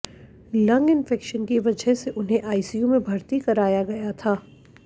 lung infection की वजह से उन्हें आईसीयू में भर्ती कराया गया था